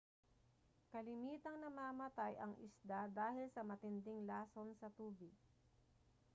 kalimitang namamatay ang isda dahil sa matinding lason sa tubig